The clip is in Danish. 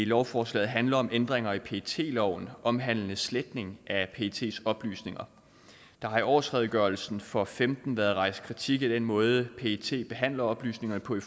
lovforslaget handler om ændringer i pet loven omhandlende sletning af pets oplysninger der har i årsredegørelsen for og fem været rejst kritik af den måde pet behandler oplysninger på i